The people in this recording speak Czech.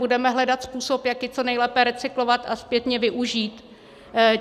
Budeme hledat způsob, jak ji co nejlépe recyklovat a zpětně využít.